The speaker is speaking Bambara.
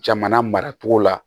Jamana maracogo la